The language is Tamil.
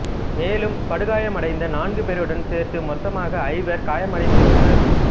மேலும் படுகாயமடைந்த நான்கு பேருடன் சேர்த்து மொத்தமாக ஐவர் காயமடைந்திருந்திருந்தனர்